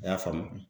A y'a faamu